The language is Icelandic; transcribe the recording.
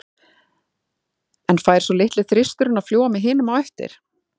En fær svo litli þristurinn að fljúga með hinum á eftir?